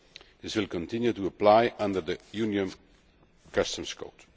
This will continue to apply under the Union Customs Code.